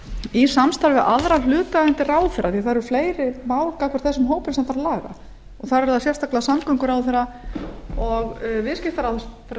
í samstarfi við aðra hlutaðeigandi ráðherra því það eru fleiri mál gagnvart þessum hópum sem þarf að laga það eru sérstaklega samgönguráðherra og viðskiptaráðherra